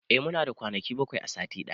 I muna da kwanaki bakwai a sati ɗaya